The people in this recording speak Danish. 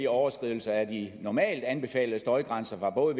overskridelser af de normalt anbefalede støjgrænser fra både